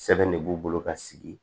Sɛbɛn de b'u bolo ka sigi